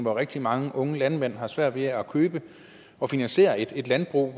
at rigtig mange unge landmænd har svært ved at købe og finansiere et landbrug i